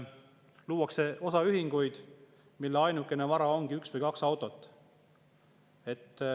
Luuakse osaühinguid, mille ainuke vara on üks või kaks autot.